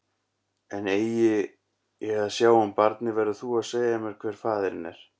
En eigi ég að sjá um barnið, verður þú að segja mér hver faðirinn er.